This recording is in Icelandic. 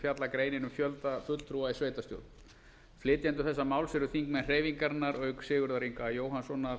fjallar greinin um fjölda fulltrúa í sveitarstjórn flytjendur þessa máls eru þingmenn hreyfingarinnar auk sigurðar inga jóhannssonar